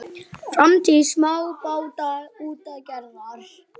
Framtíð smábátaútgerðar?